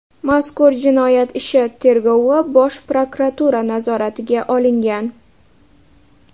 Mazkur jinoyat ishi tergovi Bosh prokuratura nazoratiga olingan.